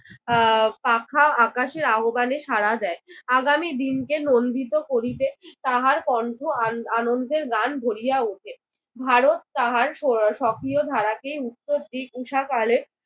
আহ পাখা আকাশের আহ্ববানে সাড়া দেয়। আগামী দিনকে নন্দিত করিতে তাহার কন্ঠ আন আনন্দের গান ভরিয়া উঠে। ভারত তাহার স সক্রিয় ধারাকে উত্তর দিক উষাকালে।